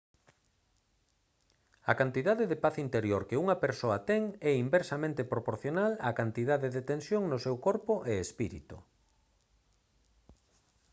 a cantidade de paz interior que unha persoa ten é inversamente proporcional á cantidade de tensión no seu corpo e espírito